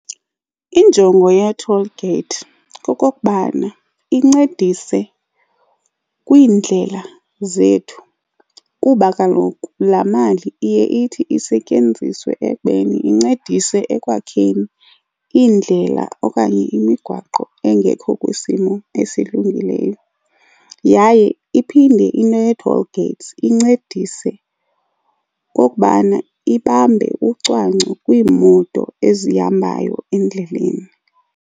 Injongo yee-toll gate kokokubana incedise kwiindlela zethu kuba kaloku laa mali iye ithi isetyenziswe ekubeni incedise ekwakheni iindlela okanye imigwaqo engekho kwisimo esilungileyo. Yaye iphinde into yee-toll gates incedise okubana ibambe ucwangco kwiimoto ezihambayo endleleni.